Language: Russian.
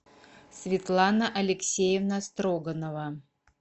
светлана алексеевна строганова